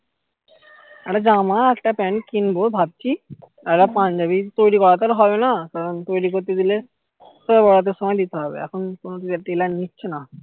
একটা জামা একটা প্যান্ট কিনবো ভাবছি আর একটা পাঞ্জাবি তৈরী করা তো আর হবে না তৈরী করতে দিলে সব ওদের তো সময় দিতে হবে এখন কোনো দিকে tailor নিচ্ছে না